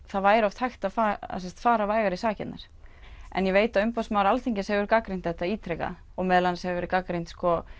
það væri oft hægt að fara vægar í sakirnar en ég veit að umboðsmaður Alþingis hefur gagnrýnt þetta ítrekað og meðal annars hefur verið gagnrýnt